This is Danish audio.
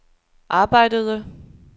arbejdede